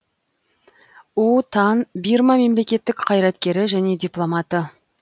у тан бирма мемлекеттік қайраткері және дипломаты